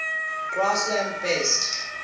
grassland based